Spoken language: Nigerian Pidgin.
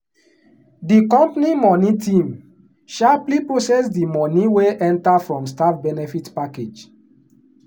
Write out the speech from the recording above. the company money team sharply process the money wey enter from staff benefit package. um